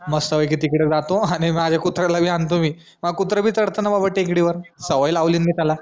मस्त पैकी तिकडं जातो आणि माझा कुत्र्याला पण आणतो मी कुत्रा भी चढतो ना बाबा टेकडीवर सवय लावलीय मी त्याला